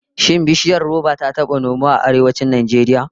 Shin bishiyar roba ta taba nomuwa a Arewacin Najeriya?